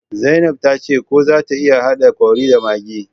zainab tace ko zata iya hada curry da maggi